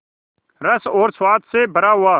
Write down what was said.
रस और स्वाद से भरा हुआ